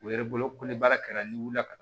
U yɛrɛ bolo ko ni baara kɛra n'i wulila ka na